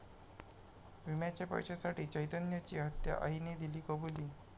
विम्याच्या पैशासाठी चैतन्यची हत्या, आईने दिली कबुली